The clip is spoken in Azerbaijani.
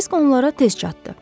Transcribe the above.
Kirsik onlara tez çatdı.